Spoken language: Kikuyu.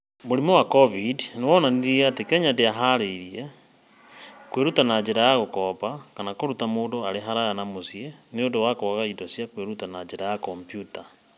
Mũrimũ wa cobindi nĩ wonanirie atĩ Kenya ndĩhaarĩirie kwĩruta na njĩra ya gũkomba kana kũruta mũndũ arĩ haraya na mũciĩ nĩ ũndũ wa kwaga indo cia kwĩruta na njĩra ya kompiuta.